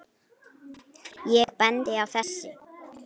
Ég bendi á þessi